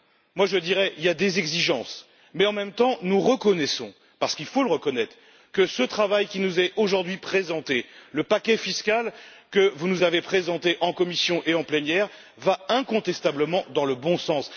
Moi, je dirais plutôt des exigences, mais en même temps nous reconnaissons parce qu'il faut le reconnaître que ce travail qui nous est aujourd'hui présenté le paquet fiscal que vous avez présenté en commission et en plénière va incontestablement dans le bon sens.